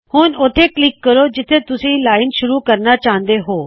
ਹੁੱਣ ਉੱਥੇ ਕਲਿੱਕ ਕਰੋ ਜਿਥੋ ਤੁਸੀ ਲਾਇਨ ਸ਼ੁਰੂ ਕਰਨਾ ਚਾਹੁੰਦੇ ਹੋਂ